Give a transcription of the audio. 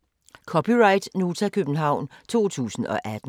(c) Nota, København 2018